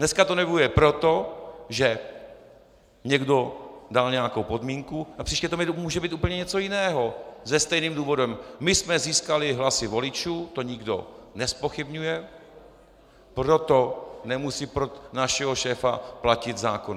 Dneska to nevyhovuje proto, že někdo dal nějakou podmínku, a příště to může být úplně něco jiného se stejným důvodem: My jsme získali hlasy voličů, to nikdo nezpochybňuje, proto nemusí pro našeho šéfa platit zákon.